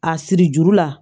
A siri juru la